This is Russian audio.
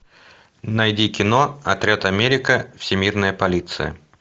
найди кино отряд америка всемирная полиция